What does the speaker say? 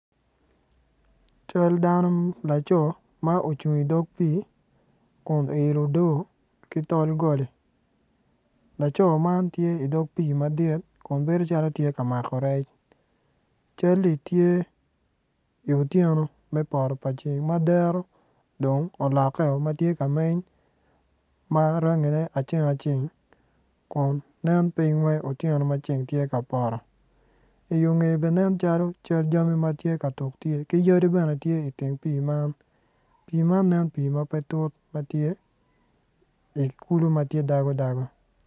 Cal dano laco ma ocung i dog pii kun oilo odoo ki tol goli laco man tye i dog pii madit kun bedo calo tye ka mako rec cal-li tye i otyeno me poto pa ceng ma dero dong olokkeo ma tye ka nen ma rangine aceng acen kun nen piny wai piny wai tyeno ma ceng poto i yo ngeye bene nen calo cal jami ma tye katuk ki yadi bene tye iteng pii man nen pii ma pe tut ma tye i kulu ma tye dago dago